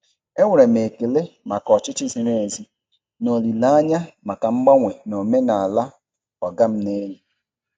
E nwere m ekele maka ọchịchị ziri ezi na olile anya maka mgbanwe na omenala "ọga m n'elu".